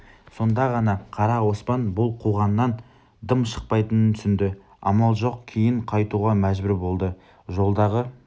сонда ғана қара оспан бұл қуғаннан дым шықпайтынын түсінді амал жоқ кейін қайтуға мәжбүр болды жолдағы